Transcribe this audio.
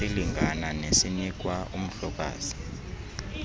esilingana nesinikwa umhlokazi